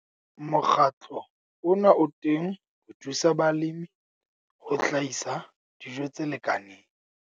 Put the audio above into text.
Mokgatlo ona o teng ho thusa balemi ho hlahisa dijo tse lekaneng.